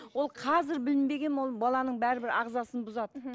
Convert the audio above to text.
ол қазір білінбеген ол баланың бәрібір ағзасын бұзады мхм